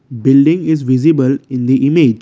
building is visible in the image.